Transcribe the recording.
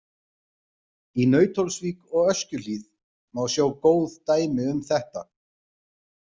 Í Nauthólsvík og Öskjuhlíð má sjá góð dæmi um þetta.